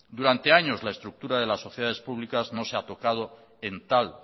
durante años la estructura de las sociedades públicas no se ha tocado en tal